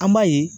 An b'a ye